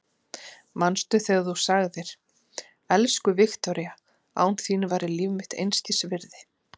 Manstu þegar þú sagðir: Elsku Viktoría, án þín væri líf mitt einskis virði.